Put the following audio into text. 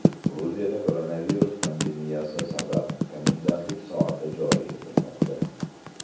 Gruziyada koronavirus pandemiyasi sabab komendantlik soati joriy etilmoqda.